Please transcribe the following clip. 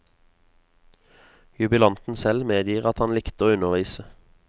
Jubilanten selv medgir at han likte å undervise.